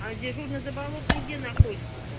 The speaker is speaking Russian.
а дежурный заболотный где находится то